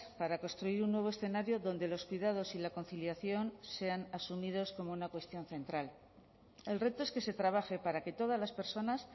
para construir un nuevo escenario donde los cuidados y la conciliación sean asumidos como una cuestión central el reto es que se trabaje para que todas las personas